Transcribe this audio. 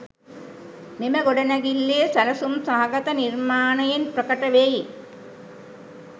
මෙම ගොඩනැගිල්ලේ සැලසුම් සහගත නිර්මාණයෙන් ප්‍රකට වෙයි.